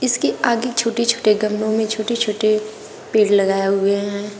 इसके आगे छोटे छोटे गमलों में छोटे छोटे पेड़ लगाया हुए हैं।